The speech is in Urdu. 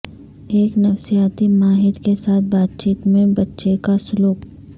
ایک نفسیاتی ماہر کے ساتھ بات چیت میں بچے کا سلوک